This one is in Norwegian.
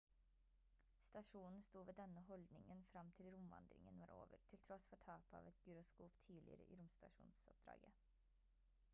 stasjonen sto ved denne holdningen frem til romvandringen var over til tross for tapet av et gyroskop tidligere i romstasjonoppdraget